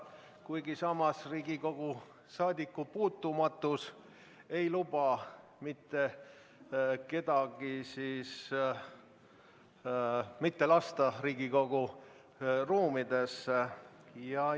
Kuigi samas, Riigikogu liikmete saadikupuutumatus ei luba teha otsust neid mitte lasta Riigikogu ruumidesse.